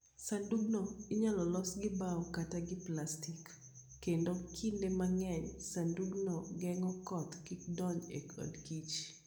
Sandugno inyalo los gi bao kata gi plastik, kendo kinde mang'eny sandugno geng'o koth kik donji e odkich.